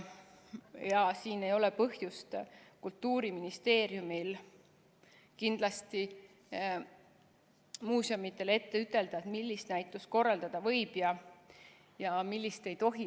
Kultuuriministeeriumil ei ole kindlasti põhjust muuseumidele ette ütelda, millist näitust korraldada võib ja millist ei tohi.